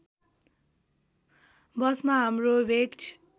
बसमा हाम्रो भेट